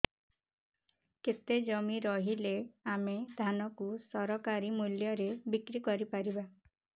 କେତେ ଜମି ରହିଲେ ଆମେ ଧାନ କୁ ସରକାରୀ ମୂଲ୍ଯରେ ବିକ୍ରି କରିପାରିବା